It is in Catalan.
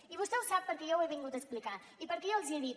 i vostè ho sap perquè jo ho he vingut a explicar i perquè jo els hi he dit